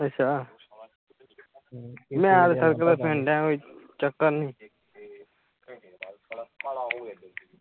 ਅੱਛਾ ਮੈ ਤਾ ਸੜਕ ਤੇ ਫਿਰਨ ਦਿਆ ਓਏ ਚੱਕਰ ਨਹੀਂ